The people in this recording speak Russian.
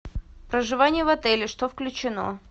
проживание в отеле что включено